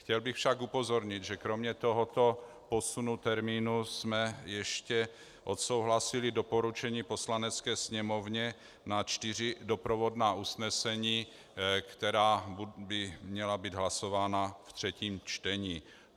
Chtěl bych však upozornit, že kromě tohoto posunu termínu jsme ještě odsouhlasili doporučení Poslanecké sněmovně na čtyři doprovodná usnesení, která by měla být hlasována ve třetím čtení.